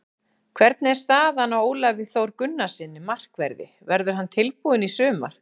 Hvernig er staðan á Ólafi Þór Gunnarssyni, markverði, verður hann tilbúinn í sumar?